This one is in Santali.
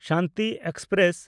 ᱥᱟᱱᱛᱤ ᱮᱠᱥᱯᱨᱮᱥ